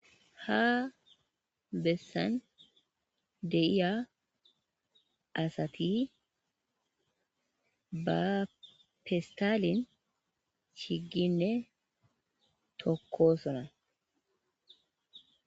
ha bessan deiya asati ba pistaalin chiginne tokko sona